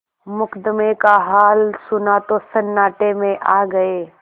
मुकदमे का हाल सुना तो सन्नाटे में आ गये